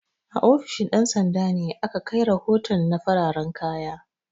A ofishin ɗan sanda ne ake kai rahoton na fararan kaya